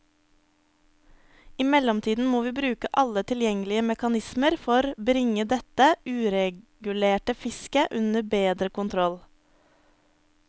I mellomtiden må vi bruke alle tilgjengelige mekanismer for bringe dette uregulerte fisket under bedre kontroll.